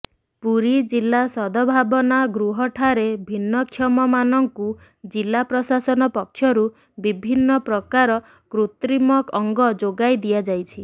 ପୁରୀ ଜିଲ୍ଲା ସଦଭାବନା ଗୃହଠାରେ ଭିନ୍ନକ୍ଷମମାନଙ୍କୁ ଜିଲ୍ଲା ପ୍ରଶାସନ ପକ୍ଷରୁ ବିଭିନ୍ନ ପ୍ରକାର କୃତ୍ରିମ ଅଙ୍ଗ ଯୋଗାଇ ଦିଆଯାଇଛି